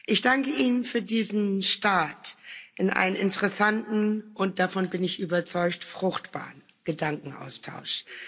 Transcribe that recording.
Ich danke Ihnen für diesen Start in einen interessanten und davon bin ich überzeugt fruchtbaren Gedankenaustausch.